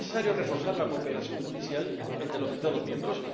Y por eso es necesario reforzar la cooperación judicial entre los Estados miembros